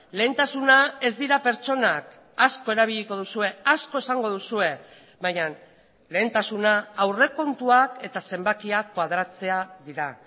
lehentasuna ez dira pertsonak asko erabiliko duzue asko esango duzue baina lehentasuna aurrekontuak eta zenbakiak koadratzea dira